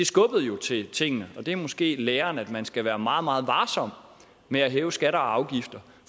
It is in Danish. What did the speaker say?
skubbede til tingene det er måske læren altså at man skal være meget meget varsom med at hæve skatter og afgifter